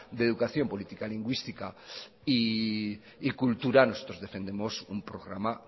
de educación política lingüística y cultura nosotros defendemos un programa